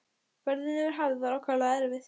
Ferðin yfir hafið var ákaflega erfið.